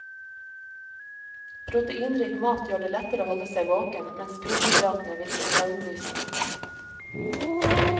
Proteinrik mat gjør det lettere å holde seg våken, mens kullhydratene virker søvndyssende.